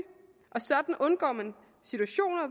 og sådan undgår man situationer